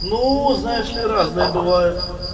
ну знаешь ли разные бывают